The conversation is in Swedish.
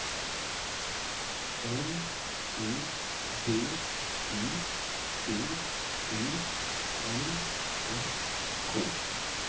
M E D I C I N S K